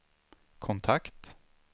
kontakt